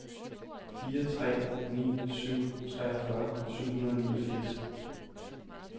fire tre ni syv treogfyrre syv hundrede og niogfirs